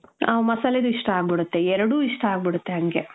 ಆ, ಮಸಲೆದು ಇಷ್ಟ ಅಗ್ಬುಡುತ್ತೆ ಎರಡು ಇಷ್ಟ ಅಗ್ಬುಡುತ್ತೆ ಹಂಗೇ .